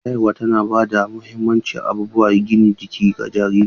Shayarwa tana ba da muhimman abubuwan gina jiki ga jariri.